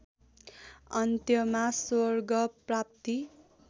अन्त्यमा स्वर्ग प्राप्ति